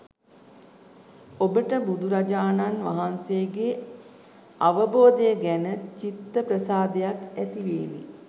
ඔබට බුදුරජාණන් වහන්සේගේ අවබෝධය ගැන චිත්තප්‍රසාදයක් ඇතිවේවි